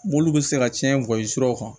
Mobili bɛ se ka cɛn gɔyi siraw kan